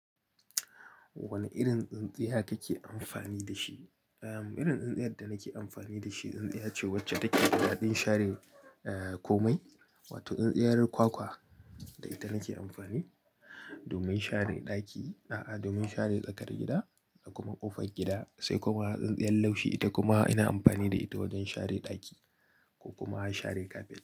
Wane irin tsintsiya kake amfani da shi? Irin tsintsiya da nake amfani da shi, tsintsiya ce wacce take da daɗin share komai, wato tsintsiyar kwakwa. Da ita nake amfani domin share ɗaki, domin share tsakar gida da kuma ƙofar gida, sai kuma tsintsiyar laushi. Ita kuma ina amfani da ita wajen share ɗaki ko kuma share kafet.